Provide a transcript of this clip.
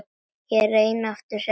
Ég reyni aftur seinna